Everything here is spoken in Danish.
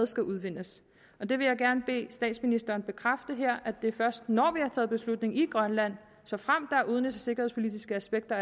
skal udvindes det vil jeg gerne bede statsministeren bekræfte her det er først når vi har taget beslutning i grønland og såfremt der er udenrigs og sikkerhedspolitiske aspekter